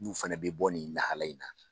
N'u fana bɛ bɔ nin lahala in na